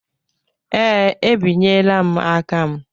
Ee, ebinyela m aka m.